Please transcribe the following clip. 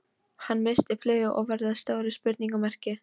Hann missti flugið og varð að stóru spurningamerki.